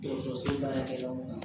Dɔgɔtɔrɔso la kɛyɔrɔ